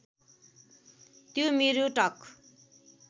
त्यो मेरो टक